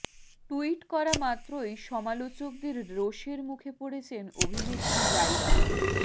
tweet করা মাত্রই সমালোচকদের রোষের মুখে পড়েছেন অভিনেত্রী জাইরা